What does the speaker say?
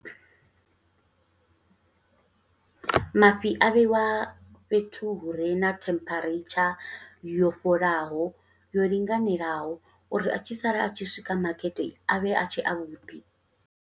Mafhi a vheiwa fhethu hu re na temperature yo fholaho yo linganelaho, uri a tshi sala a tshi swika makete, a vhe a tshe avhuḓi.